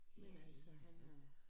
Men altså han er